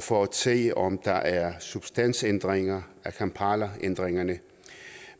for at se om der er substansændringer af kampalaændringerne